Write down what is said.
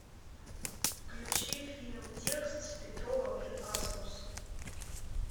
включи фильм текст с петровым и асмус